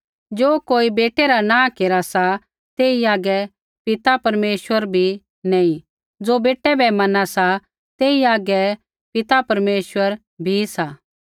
ज़ो कोई बेटै रा नाँह केरा सा तेई हागै पिता परमेश्वर बी नैंई ज़ो बेटै बै मना सा तेई हागै बापू परमेश्वर भी सा